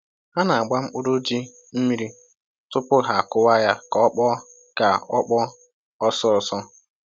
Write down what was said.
Ha na-agba mkpụrụ ji mmiri tupu ha kụwaa ya ka ọ kpọọ ka ọ kpọọ ọsọ ọsọ